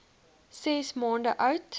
ses maande oud